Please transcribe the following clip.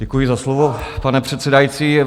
Děkuji za slovo, pane předsedající.